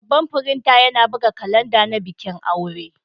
Babban firinta yana buga kalanda na bikin aure.